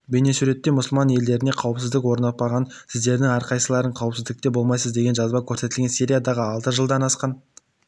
бейнесуретте мұсылман елдерінде қауіпсіздік орнықпағанша сіздердің әрқайсыларыңыз қауіпсіздікте болмайсыз деген жазба көрсетілген сириядағы алты жылдан асқан